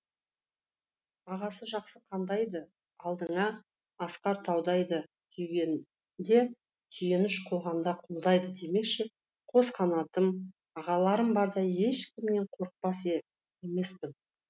ағасы жақсы қандай ды алдыңа асқар таудай ды сүйінгенде сүйеніш құлағанда қолдайды демекші қос қанатым ағаларым барда ешкімнен қорықпас емеспін